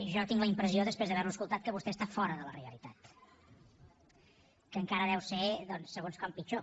jo tinc la impressió després d’haver lo escoltat que vostè està fora de la realitat que encara pot ser doncs segons com pitjor